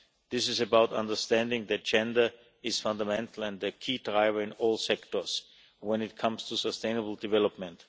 This is about understanding that gender is fundamental and a key driver in all sectors when it comes to sustainable development.